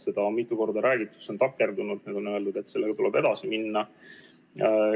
Seda on mitu korda räägitud, see on takerdunud, nüüd on öeldud, et sellega tuleb edasi minna.